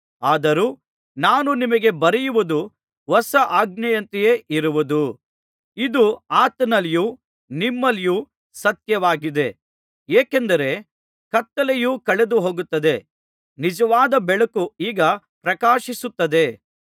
ಆದರೂ ನಾನು ನಿಮಗೆ ಬರೆಯುವುದು ಹೊಸ ಆಜ್ಞೆಯಂತೆಯೇ ಇರುವುದು ಇದು ಆತನಲ್ಲಿಯೂ ನಿಮ್ಮಲ್ಲಿಯೂ ಸತ್ಯವಾಗಿದೆ ಏಕೆಂದರೆ ಕತ್ತಲೆಯು ಕಳೆದುಹೋಗುತ್ತದೆ ನಿಜವಾದ ಬೆಳಕು ಈಗ ಪ್ರಕಾಶಿಸುತ್ತಲಿದೆ